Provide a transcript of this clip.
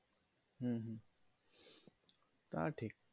হম হম তা ঠিক